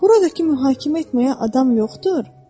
Buradakı mühakimə etməyə adam yoxdur?